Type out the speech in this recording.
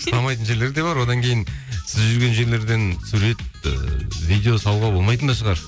ұстамайтын жерлер де бар одан кейін сіз жүрген жерлерден сурет ыыы видео салуға болмайтын да шығар